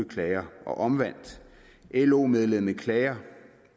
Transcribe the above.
klager og omvendt lo medlemmet klager